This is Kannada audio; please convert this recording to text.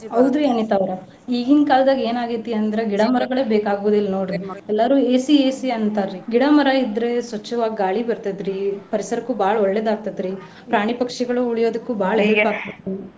ಹೌದು ಅನಿತಾ ಅವ್ರೆ ಈಗಿನ್ ಕಾಲ್ದಾಗ ಏನ್ ಆಗೇತಿ ಅಂದ್ರೆ ಗಿಡ ಮರಗಳು ಬೇಕಾಗುದಿಲ್ಲ ನೋಡ್ರಿ. ಎಲ್ಲಾರು AC, AC ಅಂತಾರಿ. ಗಿಡ ಮರ ಇದ್ರೆ ಸ್ವಚ್ಛವಾಗ್ ಗಾಳಿ ಬರ್ತೈತ್ರಿ ಪರಿಸರಕ್ಕು ಬಾಳ ಒಳ್ಳೇದ್ ಆಗತೈತ್ರಿ . ಪ್ರಾಣಿ ಪಕ್ಷಿಗಳು ಉಳಿಯೊದಕ್ಕು ಬಾಳ help .